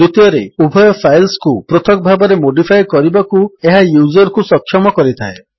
ଦ୍ୱିତୀୟରେ ଉଭୟ ଫାଇଲ୍ସକୁ ପୃଥକ୍ ଭାବେ ମୋଡିଫାଏ କରିବାକୁ ଏହା ୟୁଜର୍ କୁ ସକ୍ଷମ କରିଥାଏ